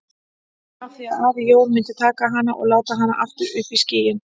Af því að afi Jón myndi taka hana og láta hana aftur upp í skýin.